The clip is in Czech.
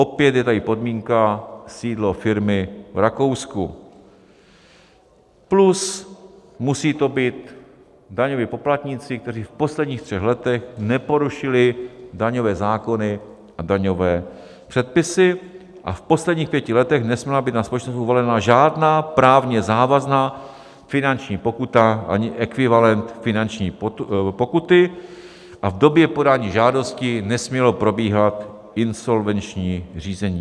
Opět je tady podmínka sídlo firmy v Rakousku plus musí to být daňoví poplatníci, kteří v posledních třech letech neporušili daňové zákony a daňové předpisy a v posledních pěti letech nesměla být na společnost uvalena žádná právně závazná finanční pokuta ani ekvivalent finanční pokuty a v době podání žádosti nesmělo probíhat insolvenční řízení.